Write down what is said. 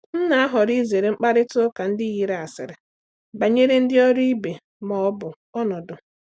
M na-ahọrọ izere mkparịta ụka ndị yiri asịrị banyere ndị ọrụ ibe ma ọ bụ ọnọdụ.